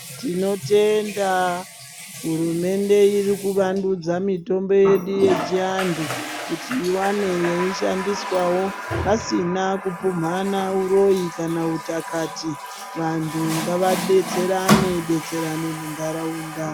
Tinotenda hurumende irikuvandudza mitombo yedu yechianthu kuti iwane yeishandiswawo pasina kupumhana uroyi kana uthakati, vanthu ngavadetserane detserane muntaraunda.